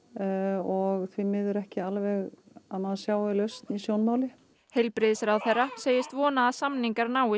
og því miður ekki alveg að maður sjái lausn í sjónmáli heilbrigðisráðherra segist vona að samningar náist